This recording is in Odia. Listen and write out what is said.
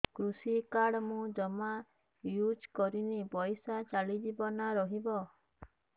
କୃଷି କାର୍ଡ ମୁଁ ଜମା ୟୁଜ଼ କରିନି ପଇସା ଚାଲିଯିବ ନା ରହିବ